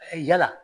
Yala